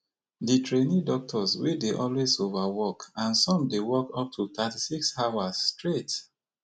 di trainee doctors dey always overwork and some dey work up to thirty-six hours straight